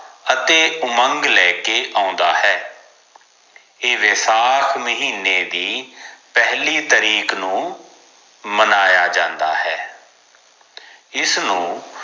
ਅਤੇ ਉਮੰਗ ਲੈਕੇ ਆਉਂਦਾ ਹੈ ਏ ਵੈਸਾਖ ਮਹੀਨੇ ਦੀ ਪਹਿਲੀ ਤਾਰੀਕ ਨੂੰ ਮਨਾਯਾ ਜਾਂਦਾ ਹੈ ਇਸ ਨੂੰ